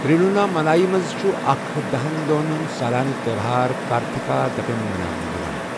تِرۄٗوناملایی منز چھٗ اكھ دہن دوہن ہٗند سالانہٕ تیوہار كارتھِكا دیپم مناونہٕ یوان